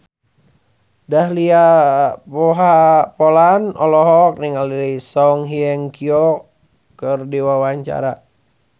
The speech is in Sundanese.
Dahlia Poland olohok ningali Song Hye Kyo keur diwawancara